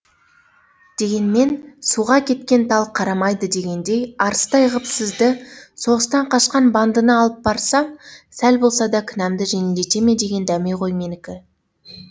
дегенмен суға кеткен тал қарамайды дегендей арыстай ғып сізді соғыстан қашқан бандыны алып барсам сәл болса да кінәмді жеңілдете ме деген дәме ғой менікі